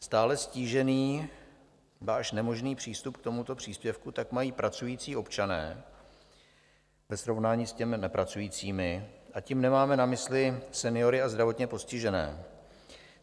Stále ztížený, ba až nemožný přístup k tomuto příspěvku tak mají pracující občané ve srovnání s těmi nepracujícími, a tím nemáme na mysli seniory a zdravotně postižené.